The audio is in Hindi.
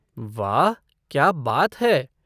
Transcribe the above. वाह! क्या बात है।